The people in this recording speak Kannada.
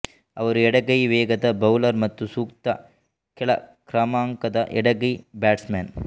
ಅವರು ಎಡಗೈ ವೇಗದ ಬೌಲರ್ ಮತ್ತು ಸೂಕ್ತ ಕೆಳ ಕ್ರಮಾಂಕದ ಎಡಗೈ ಬ್ಯಾಟ್ಸ್ಮನ್